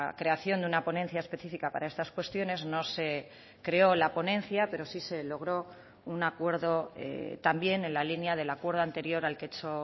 creación de una ponencia específica para estas cuestiones no se creó la ponencia pero sí se logró un acuerdo también en la línea del acuerdo anterior al que he hecho